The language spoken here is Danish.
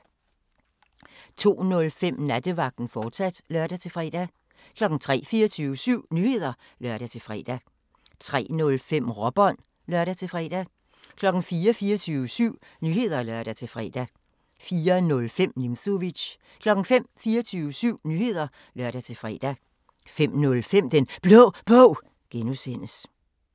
02:05: Nattevagten, fortsat (lør-fre) 03:00: 24syv Nyheder (lør-fre) 03:05: Råbånd (lør-fre) 04:00: 24syv Nyheder (lør-fre) 04:05: Nimzowitsch 05:00: 24syv Nyheder (lør-fre) 05:05: Den Blå Bog (G)